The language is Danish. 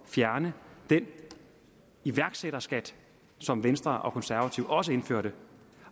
fjerne den iværksætterskat som venstre og konservative også indførte